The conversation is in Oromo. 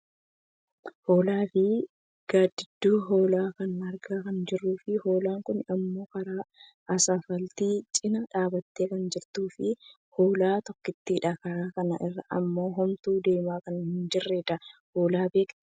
Hoolaa fi gaaddiduu hoolaa kanaa argaa kan jirruufi hoolaan kun ammoo karaa asfaaltii cinaa dhaabbattee kan jirtuufi hoolaa tokkottiidha. Karaa kana irra ammoo homtuu deemaa kan hin jirredha. Hoolaa beektaa?